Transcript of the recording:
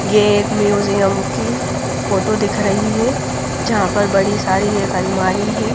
ये एक म्यूजियम की फोटो दिख रही है जहां पर बड़ी सारी एक अलमारी है।